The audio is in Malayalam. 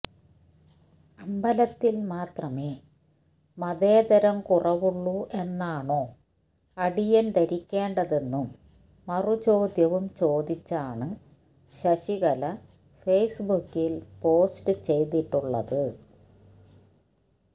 അമ്പലത്തിൽ മാത്രമേ മതേതരം കുറവുള്ളു എന്നാണോ അടിയൻ ധരിക്കണ്ടതെന്നും മറുചോദ്യവ്യും ചോദിച്ചാണ് ശശികല ഫേസ്ബുക്കിൽ പോസ്റ്റ് ചെയ്തിട്ടുള്ളത്